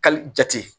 Kali jate